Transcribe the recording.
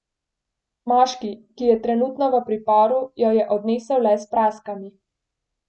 Moški, ki je trenutno v priporu, jo je odnesel le s praskami.